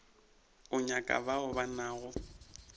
o nyaka bao ba nago